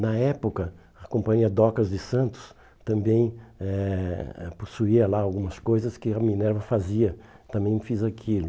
Na época, a Companhia Docas de Santos também eh eh possuía lá algumas coisas que a Minerva fazia, também fiz aquilo.